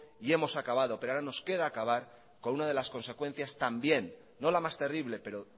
y hemos acabado pero ahora nos queda acabar con una de las consecuencias también no la más terrible pero